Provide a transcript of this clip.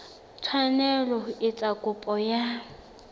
tshwanela ho etsa kopo ya